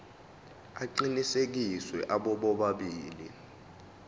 aqinisekisiwe abo bobabili